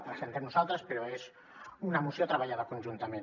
la presentem nosaltres però és una moció treballada conjuntament